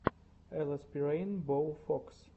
элэспирэйнбоуфокс